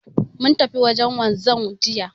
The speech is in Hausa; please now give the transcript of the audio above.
Mun tafi wajen wanzan jiya